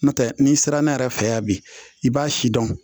N'o tɛ n'i sera ne yɛrɛ fɛ yan bi i b'a si dɔn